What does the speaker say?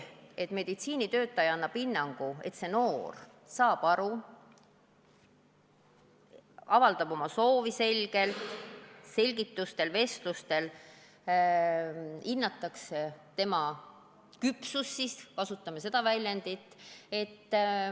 Meditsiinitöötaja annab hinnangu, kas konkreetne noor saab oma soovist aru, avaldab oma soovi selgelt, vestlustel hinnatakse selle noore küpsust – kasutame siis seda väljendit.